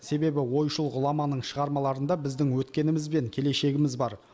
себебі ойшыл ғұламаның шығармаларында біздің өткеніміз бен келешегіміз бар